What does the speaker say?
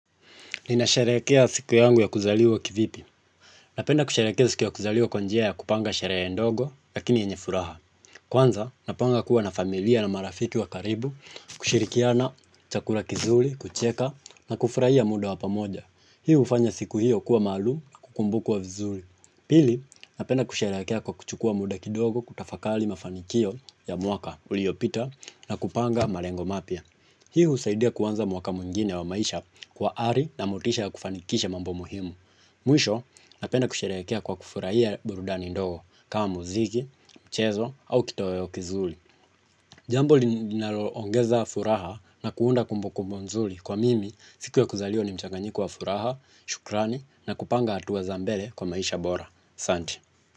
Ninasherehekea siku yangu ya kuzaliwa kivipi? Napenda kusherehekea siku ya kuzaliwa kwa njia ya kupanga sherehe ndogo, lakini yenye furaha. Kwanza, napanga kuwa na familia na marafiki wa karibu, kushirikiana, chakura kizuri, kucheka, na kufurahia muda wa pamoja. Hii hufanya siku hio kuwa maalumu na kukumbukwa vizuri. Pili, napenda kusherehekea kwa kuchukua muda kidogo kutafakali mafanikio ya mwaka uliopita na kupanga malengo mapya. Hii husaidia kuanza mwaka mwingine wa maisha kwa ari na motisha ya kufanikisha mambo muhimu. Mwisho napenda kusherehekea kwa kufurahia burudani ndogo kama muziki, mchezo au kitoeo kizuri. Jambo linalo ongeza furaha na kuunda kumbu kumbu nzuri, kwa mimi siku ya kuzaliwa ni mchanganyiko wa furaha, shukrani na kupanga hatua za mbele kwa maisha bora. Asanti.